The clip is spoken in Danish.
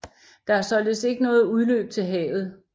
Der er således ikke noget udløb til havet